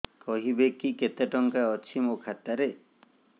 କହିବେକି କେତେ ଟଙ୍କା ଅଛି ମୋ ଖାତା ରେ